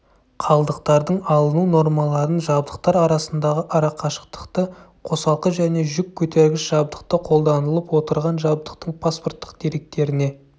қалдықтардың алыну нормаларын жабдықтар арасындағы арақашықтықты қосалқы және жүк көтергіш жабдықты қолданылып отырған жабдықтың паспорттық деректеріне